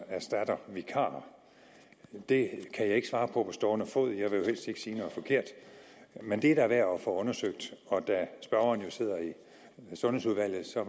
erstatter vikarer det kan jeg ikke svare på på stående fod jeg vil helst ikke sige noget forkert men det er da værd at få undersøgt og da spørgeren jo sidder i sundhedsudvalget er